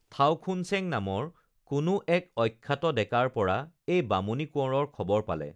থাওখুনচেং নামৰ কোনো এক অখ্যাত ডেকাৰ পৰা এই বামুনী কোঁৱৰৰ খবৰ পালে